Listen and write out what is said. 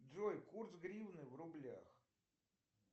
джой курс гривны в рублях